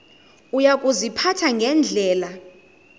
uya kuziphatha ngendlela